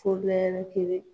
Fo lɛri kelen